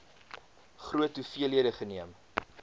groot hoeveelhede geneem